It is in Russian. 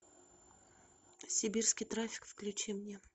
сибирский трафик включи мне